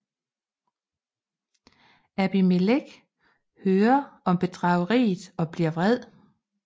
Abimelek hører om bedrageriet og bliver vred